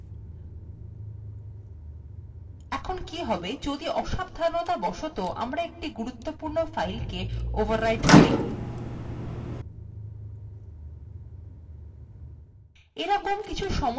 এখন কি হবে যদি অসাবধানতাবশত আমরা একটি গুরুত্বপূর্ণ file কে overwritten করি